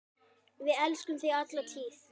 Við elskum þig alla tíð.